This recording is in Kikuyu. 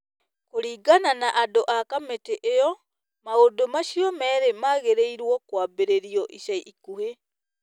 Kũringana na andũ a kamĩtĩ ĩyo, maũndũ macio merĩ magĩrĩirũo kwambĩrĩrio ica ikuhĩ.